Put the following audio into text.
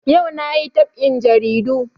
Ayau na yi dab'in jaridu